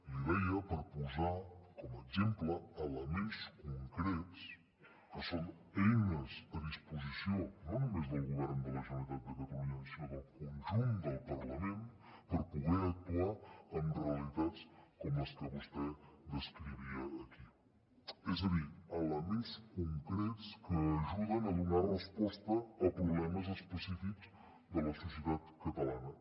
l’hi deia per posar com a exemple elements concrets que són eines a disposició no només del govern de la generalitat de catalunya sinó del conjunt del parlament per poder actuar amb realitats com les que vostè descrivia aquí és a dir elements concrets que ajuden a donar resposta a problemes específics de la societat catalana